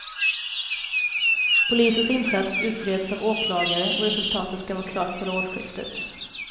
Polisens insats utreds av åklagare och resultatet ska vara klart före årsskiftet.